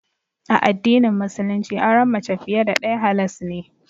A addinin Musulunci auren mace fiye da ɗaya halas ne.